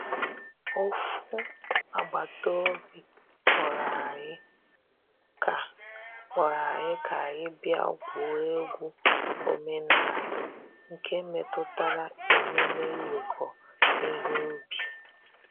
Ofu agbata obi kpọrọ anyị ka kpọrọ anyị ka anyị bịa gwuo egwu omenala nke metụtara emume iweko ihe ubi.